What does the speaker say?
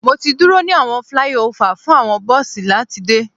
Mo ti duro ni awọn flyover fun awọn bosi lati de